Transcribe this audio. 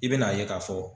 I bɛn'a ye k'a fɔ